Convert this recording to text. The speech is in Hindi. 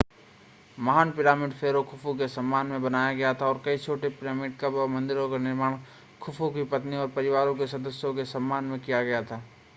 महान पिरामिड फेरो खुफू के सम्मान में बनाया गया था और कई छोटे पिरामिड कब्र और मंदिरों का निर्माण खुफू की पत्नियों और परिवार के सदस्यों के सम्मान में किया गया था